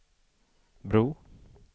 bro